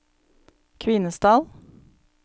Kvinesdal